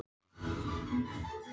Á samri stundu gleymdist öll pólitík.